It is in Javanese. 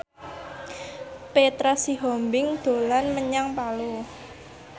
Petra Sihombing dolan menyang Palu